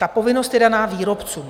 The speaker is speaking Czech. Ta povinnost je daná výrobcům.